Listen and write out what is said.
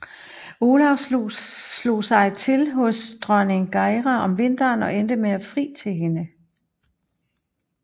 Olav slog sig til hos dronning Geira om vinteren og endte med at fri til hende